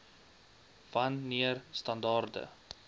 wan neer standaarde